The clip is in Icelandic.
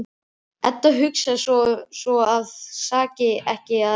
Edda hugsar sem svo að það saki ekki að reyna.